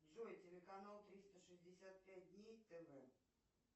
джой телеканал триста шестьдесят пять дней тв